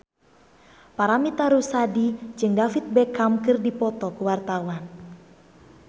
Paramitha Rusady jeung David Beckham keur dipoto ku wartawan